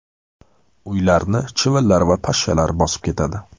Uylarni chivinlar va pashshalar bosib ketadi.